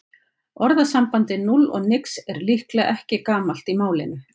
Orðasambandið núll og nix er líklega ekki gamalt í málinu.